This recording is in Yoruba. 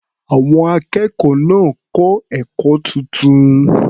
Àwọn akẹ́kọ̀ọ́ náà kọ́ ẹ̀kọ́ tuntun.